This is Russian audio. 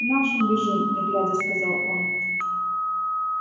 к нашим бежим не глядя сказал он